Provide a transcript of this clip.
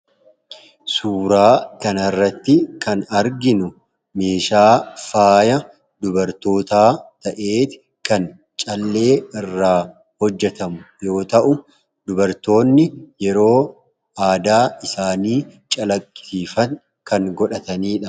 suuraa kanarratti kan arginu meeshaa faaya dubartootaa ta'ee kan callee irraa hojjatamu yoo ta'u, dubartoonni yeroo aadaa isaanii calaqqisiisan kan godhatanidha.